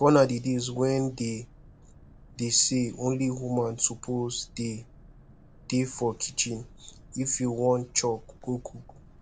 gone are the days when dey dey say only woman suppose dey dey for kitchen if you wan chop go cook